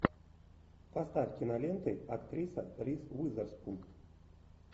поставь киноленты актриса риз уизерспун